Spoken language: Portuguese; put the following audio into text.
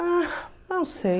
Ah, não sei.